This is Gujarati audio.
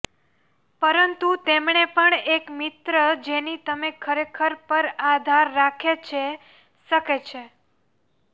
પરંતુ તેમણે પણ એક મિત્ર જેની તમે ખરેખર પર આધાર રાખે છે શકે છે